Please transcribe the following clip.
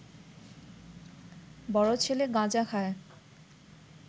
বড় ছেলে গাঁজা খায়